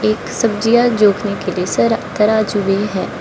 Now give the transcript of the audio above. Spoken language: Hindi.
एक सब्जियां जोखने के लिए जरा तराजू भी है।